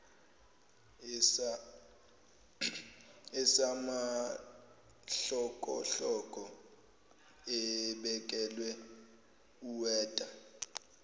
esamahlokohloko ebekela uweta